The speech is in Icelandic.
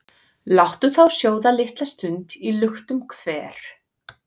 Láttu þá sjóða litla stund í luktum hver,